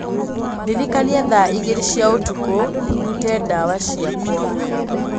ndĩrikania thaa igĩrĩ cia ũtukũ, ndute ndawa ciakwa